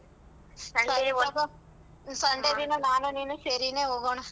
Sunday ದಿನ ನಾನು ನೀನು ಸೇರಿನೆ ಹೋಗಣ.